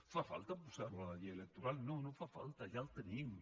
fa falta posar ho a la llei electoral no no fa falta ja ho tenim